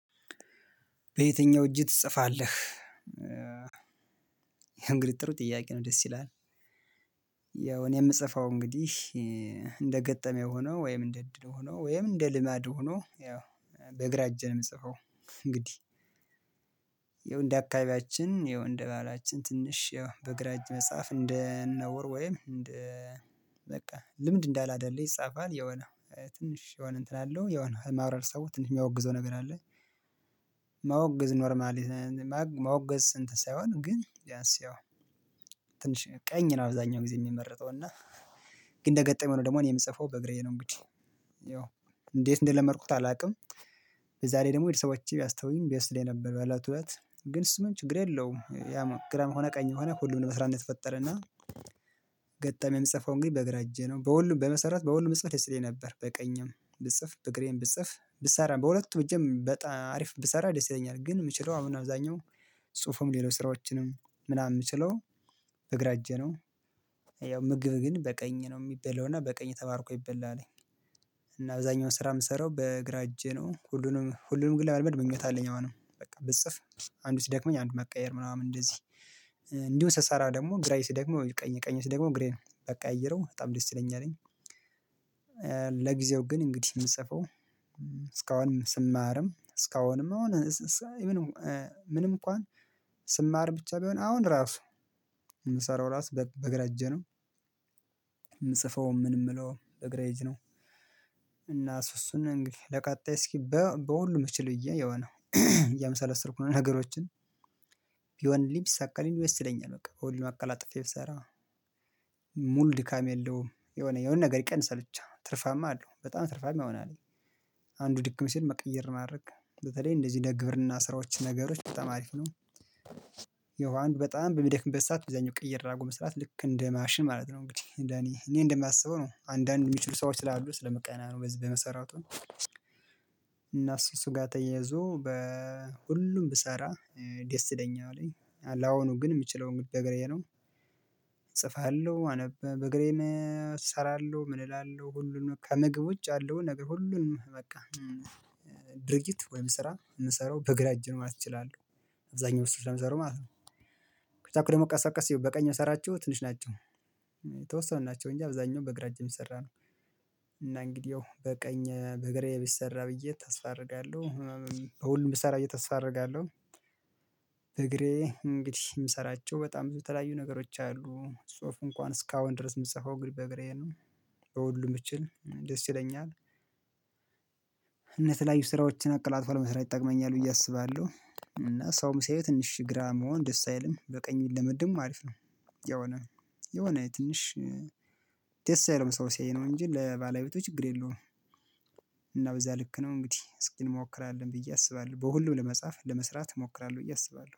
በየትኛው እጅህ ትጽፋለህ? ይህ የፈእንግዲህ ጥሩ ጥያቄ ነው ደስ ይላል። ያው እኔ የምጽፈው እንግዲህ እንደ ገጠመኝ ሆኖ ወይም እንደ እድል ሆኖ ወይም እንደ ልማድ ሆኖ ያው በግራ እጅ ነው የምጽፈው። እንግዲህ ይኸው እንደ አካባቢያችን ይኸው እንደ ባህላችን ትንሽ ይኸው በእግራ እጅ መጽሐፍ እንደ ነውር ወይም እንደ በቃ ልምድ እንዳላደርገው ይጻፋል የሆነ ትንሽ የሆነ እንትን አለው የሆነ ማብራሪያ ሰው ትንሽ የሚያወግዘው ነገር አለ። ማወግዝ ኖርማል ማወገዝ ስንት ሳይሆን ግን ቢያንስ ያው ትንሽ ቀኝ ነው አብዛኛው ጊዜ የሚመረጠው እና ግን እንደገጠመው ነው ደግሞ እኔ የምጽፈው በግራዬ ነው እንግዲህ ያው እንዴት እንደለመድኩት አላውቅም። በዛ ላይ ደግሞ በተሰቦቼ ቢያስተውኝ ደስ ይለኝነበር በለቱ እለት ግን እሱ ምንም ችግር የለውም ያ ግራም ሆነ ቀኝ ሆነ ሁሉም ለመስራት ው የተፈጠረና። ገጣሚ የምጽፈው እንግዲህ በእግራ እጄ ነው በሁሉም በመሰራት በሁሉም እጽፍ ደስ ይለኝ ነበር በቀኝም ብጽፍ በእግራዬም ብጽፍ ብሰራ በሁለቱ እጅም በጣም አሪፍ ብሰራ ደስ ይለኛል ግን የምችለው አሁን አብዛኛው ጽሁፉም ሌሎች ስራዎችንም ምናምን የምችለው በእግራ እጄ ነው። ያው ምግብ ግን በቀኝ ነው የሚበላውና በቀኝ ተባርኮ ይበላለኝ። እና አብዛኛውን ስራ የምሰራው በእግራ እጄ ነው ሁሉንም ሁሉንም ብለማመድ ምኞት አለኝ አሁን ነው በቃ ብጽፍ። አንዱ ሲደክመኝ አንድ መቀየር ምናምን እንደዚህ እንዲሁ ስሳራ ደግሞ ግራዬ ሲደክመው ቀኝ ቀኝ ሲደክመው ግሬ ነው በጣም ደስ ይስለኛለኝ። ለጊዜው ግን እንግዲህ የእየሰራሁ ነው እስካሁንም ስማርም አሁን ምንም ምንም እንኳን ስማር ብቻ ቢሆን አሁን ራሱ የምሰራው ራሱ በእግራ እጄ ነው። የምጽፈውም ምን የምለውም በግራ እጅ ነው። እና እሱ እሱን እንግዲህ ለቀጣይ እስኪ በሁሉም እችል ብዬ የሆነ እያመሰለሰልኩ ነው ነገሮችን ቢሆንልኝ ቢሳካልኝ ደስ ይለኛል። በቃ በሁሉም አጥፌ ብትሰራ ሙሉ ድካም የለውም የሆነ የሆነ ነገር ይቀንሳል ብቻ ትርፋማ አለው በጣም ትርፋማ ይሆናል። አንዱ ድክም ሲል መቀየር ማድረግ በተለይ እንደዚህ እንደ ግብርና ስራዎች ነገሮች በጣም አሪፍ ነው። ያው አንዱ በጣም በሚደክምበት ሰዓት እዛኛው ቅይር አድርጎ መስራት ልክ እንደ ማሽን ማለት ነው እንግዲህ እንደ እኔ እኔ እንደማስበው ነው። አንዳንድ የሚችሉ ሰዎች ስላሉ ስለምቀና ነው በዚህ በመሰረቱ እና እሱ እሱ ጋር ተያይዞ በሁሉም ብሰራ ደስ ደኛ አለኝ ለአሁኑ ግን የምችለው እንግዲህ በግራዬ ነው። እጽፋለሁ አነብ በግራዬ እሰራለሁ ምን እላለሁ ሁሉንም ከምግብ ውጭ አለው ነገር ሁሉንም በቃ ድርጊት ወይም ስራ የምሰራው በግራ እጅ ነው ማለት ይችላል። አብዛኛው ስራ የምሰራው ማለት ነው። ከቻልኩ ደግሞ ቀስበቀስ በቀኝ እምሰራቸው ትንሽ ናቸው የተወሰኑ ናቸው እንጂ አብዛኛው በግራ እጅ እምሰራው ነው። እና እንግዲያው በቀኝ በግራዬ ቢሰራ ብዬ ታስፋ አረጋለሁ በሁሉም ብሰራ ብዬ ታስፋ አረጋለሁ። በግራዬ እንግዲህ የምሰራቸው በጣም በተለያዩ ነገሮች አሉ ጽሁፍ እንኳን እስካሁን ድረስ የምትሰፋው እንግዲህ በግራዬ ነው። በሁሉም ብችል ደስ ይለኛል። እነ ተለያዩ ስራዎችን አቀላጥፏል መስራት ይጠቅመኛል ብዬ አስባለሁ እና ሰውም ሳይሆን ትንሽ ግራ መሆን ደስ አይልም በቀኝ ብንለምድም አሪፍ ነው። የሆነ የሆነ ትንሽ ደስ አይልም ሰው ሲያዩ ነው እንጂ ለባለቤቶች ችግር የለውም። እና በዛ ልክ ነው እንግዲህ እስኪ እንሞክራለን ብዬ አስባለሁ በሁሉም ለመጻፍ ለመስራት እሞክራለሁ ብዬ አስባለሁ